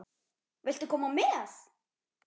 Viltu koma með?